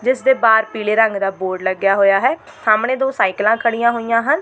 ਜਿਸ ਦੇ ਬਾਹਰ ਪੀਲੇ ਰੰਗ ਦਾ ਬੋਰਡ ਲੱਗਿਆ ਹੋਇਆ ਹੈ ਸਾਹਮਣੇ ਦੋ ਸਾਈਕਲਾਂ ਖੜੀਆਂ ਹੋਈਆਂ ਹਨ।